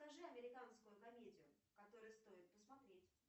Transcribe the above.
покажи американскую комедию которую стоит посмотреть